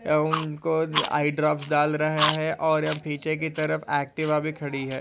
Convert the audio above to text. यह उनको eye drops डाल रहे है और अब पीछे की तरफ अॅक्टीवा भी खडी है।